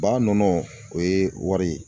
Ba nɔnɔ o ye wari ye